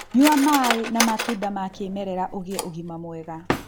Nyua maĩ ma matunda ma kĩmerera ũgĩe ũgima mwega